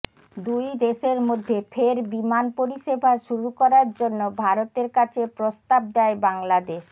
দুই দেশের মধ্যে ফের বিমান পরিষেবা শুরু করার জন্য ভারতের কাছে প্রস্তাব দেয় বাংলাদেশ